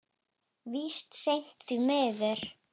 Víst seint, því miður.